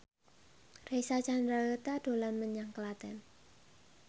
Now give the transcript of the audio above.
Reysa Chandragitta dolan menyang Klaten